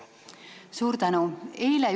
Suur tänu!